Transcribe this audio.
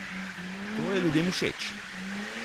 To je ljudem všeč.